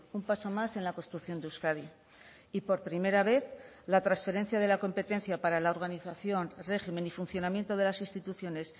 un paso más en la construcción de euskadi y por primera vez la transferencia de la competencia para la organización régimen y funcionamiento de las instituciones